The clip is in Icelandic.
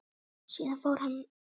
Síðan fór hann.